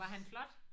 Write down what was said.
Var han flot?